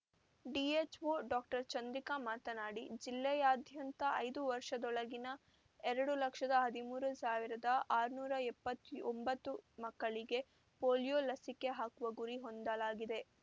DHO doctor Chandrika ಮಾತನಾಡಿ ಜಿಲ್ಲೆಯಾದ್ಯಂತ ಐದು ವರ್ಷದೊಳಗಿನ ಎರಡು ಲಕ್ಷದ ಹದಿಮೂರು ಸಾವಿರದ ಆರುನೂರ ಎಪ್ಪತ್ಯು ಒಂಬತ್ತು ಮಕ್ಕಳಿಗೆ ಪೋಲಿಯೋ ಲಸಿಕೆ ಹಾಕುವ ಗುರಿ ಹೊಂದಲಾಗಿದೆ